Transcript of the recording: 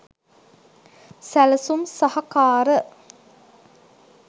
සැලසුම් සහකාර